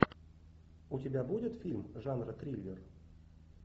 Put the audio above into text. у тебя будет фильм жанра триллер